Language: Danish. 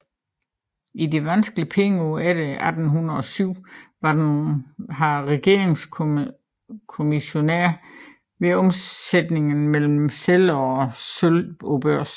I de vanskelige pengeår efter 1807 var han regeringens kommissionær ved omsætningerne mellem sedler og sølv på børsen